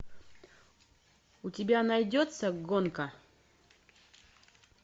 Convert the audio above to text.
у тебя найдется гонка